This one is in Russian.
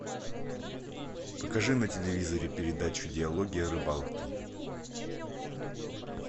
покажи на телевизоре передачу диалоги о рыбалке